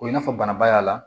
O i n'a fɔ banabaa y'a la